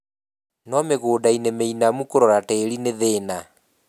no mĩgũdainĩ mĩinamu kũrora tĩri nĩthĩna.